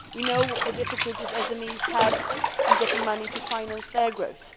We know the difficulties SMEs have in getting money to finance their growth.